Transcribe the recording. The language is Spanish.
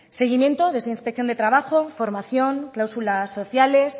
seguimiento de inspección de trabajo formación clausulas sociales